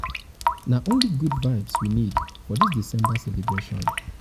na only good vibes we need for dis december celebration.